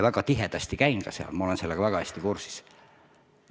Käin seal tihti ja olen asjadega väga hästi kursis.